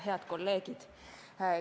Head kolleegid!